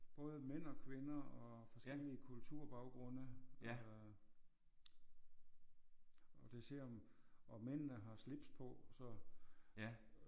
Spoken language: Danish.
Både mænd og kvinder og forskellige kulturbaggrunde øh og det ser og mændene har slips på så